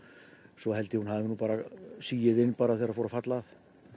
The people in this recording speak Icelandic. svo held ég að hún hafi bara sigið inn þegar fór að falla að